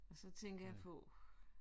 Så tænker jeg på